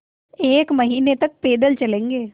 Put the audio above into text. एक महीने तक पैदल चलेंगे